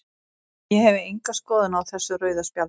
Ég hef enga skoðun á þessu rauða spjaldi.